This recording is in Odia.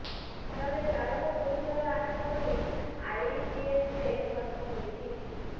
ଫଳରେ ଚାଳକ ଗୁରୁତର ଆହତ ହୋଇ ଆଇଜିଏଚରେ ଭର୍ତ୍ତି ହୋଇଛି